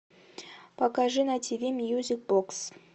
покажи на ти ви мьюзик бокс